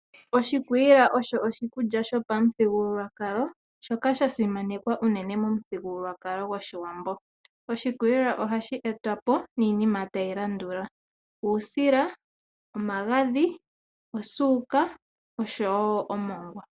Oshikwiila osho oshikulya sho pamuthigululwakalo shoka sha simanekwa uunene momuthigululwakalo goshiwambo. Oshikwiila ohashi etwa po niinima tayi landula: uusila, omagadhi, osuuka oshowo omongwa.